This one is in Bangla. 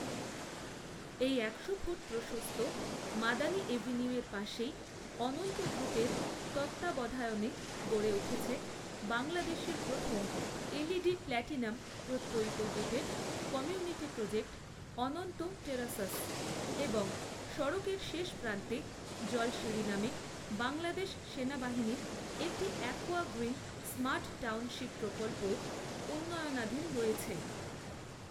এই একশো ফুট প্রশস্ত মাদানী এভিনিউয়ের পাশেই অনন্ত গ্রুপের তত্ত্বাবধায়নে গড়ে উঠছে বাংলাদেশের প্রথম এলইইডি প্লাটিনাম প্রত্যয়িত gated community project Ananta terraces এবং সড়কের শেষ প্রান্তে জলশিড়ি নামে বাংলাদেশ সেনাবাহিনীর একটি অ্যাকুয়া গ্রিন স্মার্ট টাউনশিপ প্রকল্পও উন্নয়নাধীন রয়েছে।